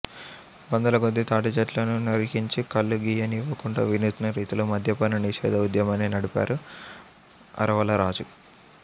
వందలకొద్దీ తాటిచెట్లను నరికించి కల్లు గీయనివ్వకుండా వినూత్న రీతిలో మద్యపాన నిషేధ ఉద్యమాన్ని నడిపారు అరవలరాజు